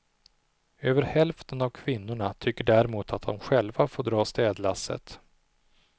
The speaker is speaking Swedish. Över hälften av kvinnorna tycker däremot att de själva får dra städlasset.